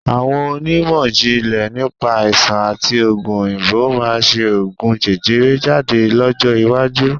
Àwọn onímọ̀jìnlẹ̀ nípa Àìsàn àti ogún òyìnbó máa ṣe ogún jẹjẹrẹ jáde lọ́jọ́ iwájú